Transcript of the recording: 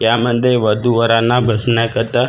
यामध्ये वधू वरांना बसण्याकरता खुर्च्या--